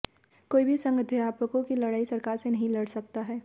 कोई भी संघ अध्यापकों की लड़ाई सरकार से नही लड़ सकता है